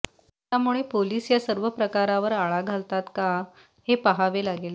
त्यामुळे पोलीस या सर्व प्रकारवर आळा घालतात का हे पाहावे लागेल